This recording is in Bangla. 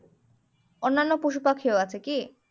অন্যায় পশু পাখিও আছে কি?